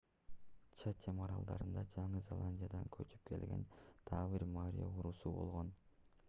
чатем аралдарында жаңы зеландиядан көчүп келген дагы бир маори уруусу болгон